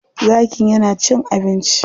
Zakin ya na cin abinci.